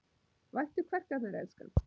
Vættu kverkarnar, elskan.